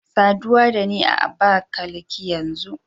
Saduwa da ni a Abakalaki yanzu